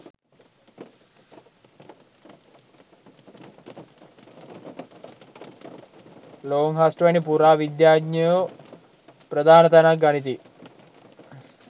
Longhurst වැනි පුරා විද්‍යාඥයෝ ප්‍රධාන තැනක් ගනිති.